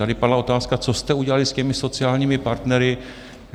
Tady padla otázka, co jste udělali s těmi sociálními partnery?